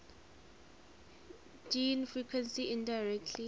gene frequency indirectly